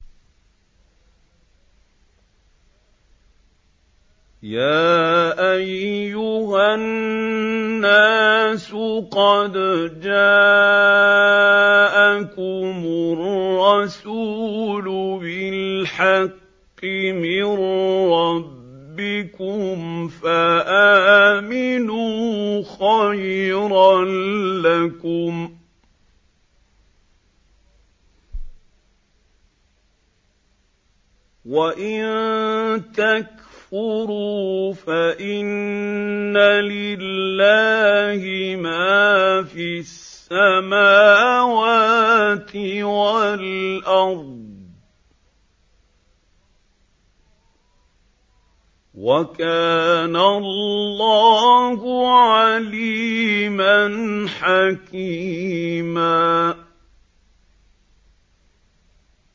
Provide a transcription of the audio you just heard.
يَا أَيُّهَا النَّاسُ قَدْ جَاءَكُمُ الرَّسُولُ بِالْحَقِّ مِن رَّبِّكُمْ فَآمِنُوا خَيْرًا لَّكُمْ ۚ وَإِن تَكْفُرُوا فَإِنَّ لِلَّهِ مَا فِي السَّمَاوَاتِ وَالْأَرْضِ ۚ وَكَانَ اللَّهُ عَلِيمًا حَكِيمًا